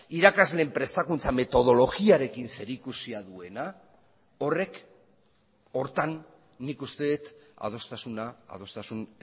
irakasleen prestakuntza metodologiarekin zerikusia duena horrek horretan nik uste dut adostasuna adostasun